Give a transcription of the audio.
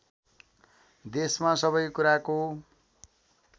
देशमा सबै कुराको